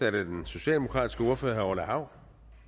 er det den socialdemokratiske ordfører herre orla hav